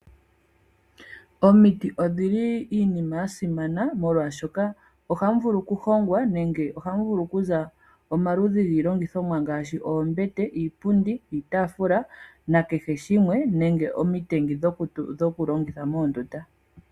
Omiti odhili iinima yasimana molwashoka ohamuvulu okuhongwa nenge ohamu vulu okuza omaludhi giilongithomwa ngaashi, oombete, iipundi, iitaafula nakeshe shimwe nenge omitengi dhokulongitha moondunda.